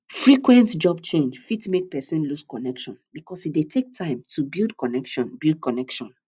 frequent job change fit make person lose connection because e dey take time to build connection build connection